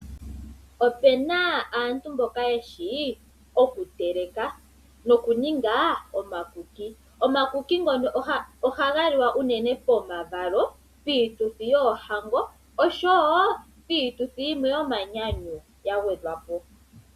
Opena aantu mboka yeshi okuteleka, noku ninga omakuki, omakuki ngono ohaga liwa unene pomavalo, piituthi yoohango oshowo piituthi yimwe yo manyanyu ya gwedhwapo.